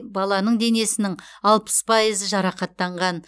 баланың денесінің алпыс пайызы жарақаттанған